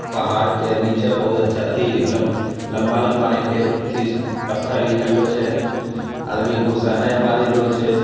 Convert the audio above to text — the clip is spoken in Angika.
पहाड़ के नीचे बहुत अच्छा अथी लम लंबा लंबा रंग के अथी पत्थर निकललो छे | आदमी घुस्सा नई परलो छे |